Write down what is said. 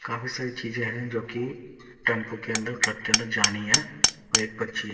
काफी सारी चीजें है जोकि टेम्पू के अन्दर ट्रक के अन्दर जानी है और एक पर्ची--